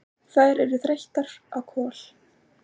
Þær eru þreyttar á Kol.